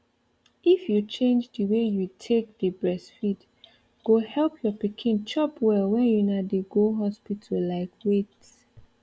if you change the way you take dey breastfeed go help your pikin chop well when una dey go hospital like wait